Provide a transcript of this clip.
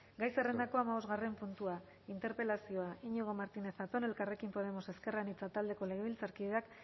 gai zerrendako hamabosgarren puntua interpelazioa iñigo martínez zatón elkarrekin podemos iu taldeko legebiltzarkideak